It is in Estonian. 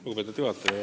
Lugupeetud juhataja!